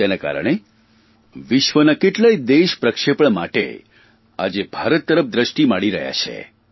તેના કારણે વિશ્વના કેટલાક દેશ પ્રક્ષેપણ માટે આજે ભારત તરફ દ્રષ્ટિ માંડી રહ્યા છે